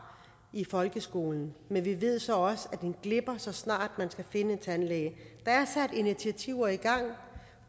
i folkeskolen men vi ved så også at den glipper så snart man skal finde en tandlæge der er sat initiativer i gang